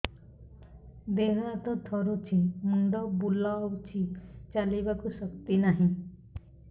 ଦେହ ହାତ ଥରୁଛି ମୁଣ୍ଡ ବୁଲଉଛି ଚାଲିବାକୁ ଶକ୍ତି ନାହିଁ